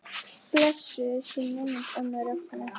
Blessuð sé minning ömmu Rögnu.